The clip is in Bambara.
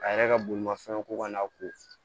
A yɛrɛ ka bolimafɛnw ko ka n'a ko